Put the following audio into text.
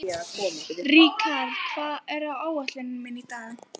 Rikharð, hvað er á áætluninni minni í dag?